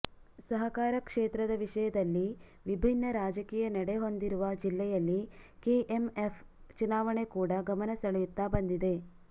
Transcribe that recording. ಸಹಕಾರ ಕ್ಷೇತ್ರದ ವಿಷಯದಲ್ಲಿ ವಿಭಿನ್ನ ರಾಜಕೀಯ ನಡೆ ಹೊಂದಿರುವ ಜಿಲ್ಲೆಯಲ್ಲಿ ಕೆಎಂಎಫ್ ಚುನಾವಣೆ ಕೂಡ ಗಮನ ಸೆಳೆಯುತ್ತ ಬಂದಿದೆ